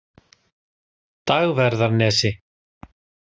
Dagverðarnesi